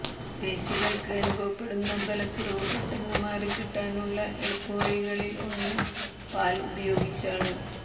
പേശികൾക്ക് അനുഭവപ്പെടുന്ന ബല കുറവ് പെട്ടെന്ന് മാറി കിട്ടാനുള്ള എളുപ്പ വഴികളിൽ ഒന്ന് പാൽ ഉപയോഗിച്ചാണ്